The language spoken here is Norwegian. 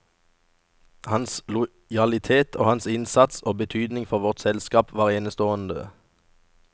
Hans lojalitet og hans innsats og betydning for vårt selskap var enestående.